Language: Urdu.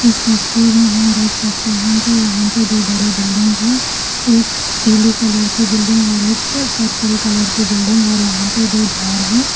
اس تصویر میں ہم دیکھ سکتے ہیں کہ یہاں پہ دو بڑے بلڈنگس ہیں۔ ایک پیلی کلر کی بلڈنگ اور ایک پرپل کلر کی بلڈنگ اور یہاں پر دو جھاڑ ہیں۔